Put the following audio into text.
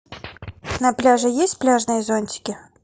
на пляже есть пляжные зонтики